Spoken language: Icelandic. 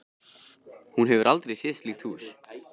Hún hefur aldrei séð slíkt hús.